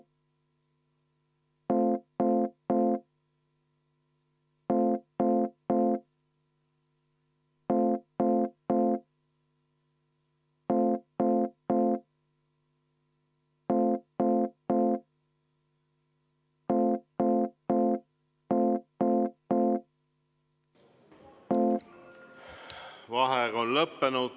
Vaheaeg on lõppenud.